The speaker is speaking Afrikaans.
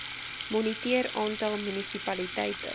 moniteer aantal munisipaliteite